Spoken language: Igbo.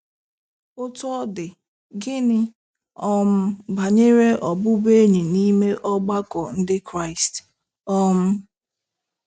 Otú ọ dị, gịnị um banyere ọbụbụenyi n'ime ọgbakọ Ndị Kraịst um?